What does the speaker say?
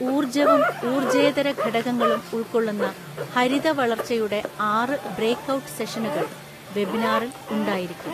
ഊര്ജ്ജവും ഊര്ജേ്ജതര ഘടകങ്ങളും ഉള്‍ക്കൊള്ളുന്ന ഹരിത വളര്‍ച്ചയുടെ ആറ് ബ്രേക്ക്ഔട്ട് സെഷനുകള്‍ വെബിനാറില്‍ ഉണ്ടായിരിക്കും.